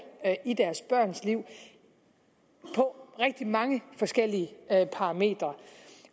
i deres børns liv på rigtig mange forskellige parametre